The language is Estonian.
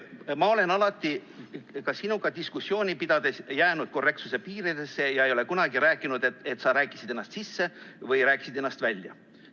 Ma olen alati ka sinuga diskussiooni pidades jäänud korrektsuse piiridesse ega ole kunagi rääkinud, et sa rääkisid ennast sisse või rääkisid ennast välja.